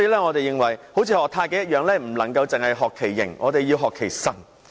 我認為好像學習太極般，我們不能只學其形，還要學其神。